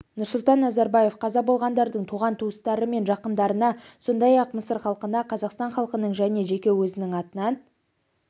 нұрсұлтан назарбаев қаза болғандардың туған-туыстары мен жақындарына сондай-ақ мысыр халқына қазақстан халқының және жеке өзінің атынан